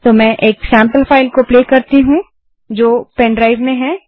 तो मैं एक सेम्पल फाइल को प्ले करती हूँ जो मेरे पेनड्राइव में है